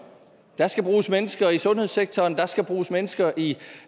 der skal bruges mennesker i sundhedssektoren der skal bruges mennesker i